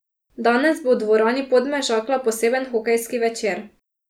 Danes bo v dvorani Podmežakla poseben hokejski večer.